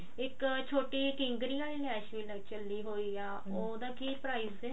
ਇੱਕ ਛੋਟੀ ਕਿੰਗਰਿਆਂ ਵਾਲੀ ਲੈਸ ਚੱਲੀ ਹੋਈ ਆ ਉਹਦਾ ਕੀ price ਸੀ